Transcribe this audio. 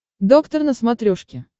доктор на смотрешке